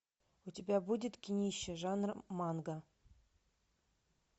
у тебя будет кинище жанра манга